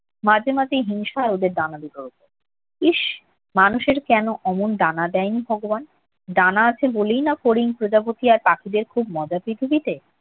মাঝে মাঝে হিংসা হয় ওদের ডানা দুটোর উপর। ইস্ মানুষের কেন অমন ডানা দেয়নি ভগবান? ডানা আছে বলেই না ফড়িং, প্রজাপতি আর পাখিদের খুব মজা পৃথিবীতে।